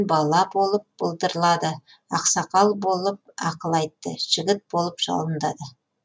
бала болып былдырлады ақсақал болып ақыл айтты жігіт болып жалындады